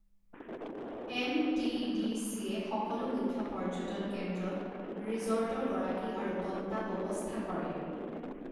M T D চিয়ে সকলো মুখ্য পৰ্যটন কেন্দ্ৰত ৰিজৰ্টৰ গৰাকী আৰু তত্বাৱৱস্থা কৰে।